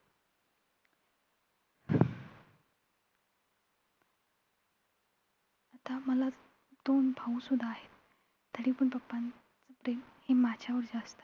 आता मला दोन भाऊ सुद्धा आहेत. तरी पण papa चं प्रेम हे माझ्यावर जास्त आहे.